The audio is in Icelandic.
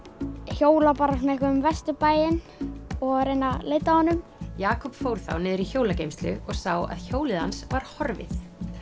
hjóla um Vesturbæinn og reyna að leita að honum Jakob fór þá niður í hjólageymslu og sá að hjólið hans var horfið